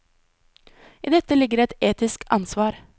I dette ligger et etisk ansvar.